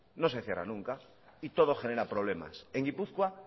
no se cierran nunca y todo genera problemas en gipuzkoa